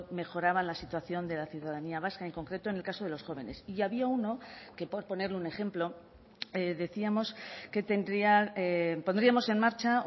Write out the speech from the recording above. mejoraba la situación de la ciudadanía vasca en concreto en el caso de los jóvenes y había uno que por ponerle un ejemplo decíamos que tendrían pondríamos en marcha